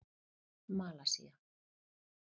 Malasía